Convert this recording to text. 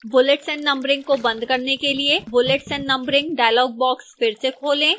bullets and numbering को बंद करने के लिए bullets and numbering dialog box फिर से खोलें